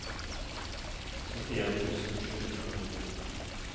syttien tusen sju hundre og ni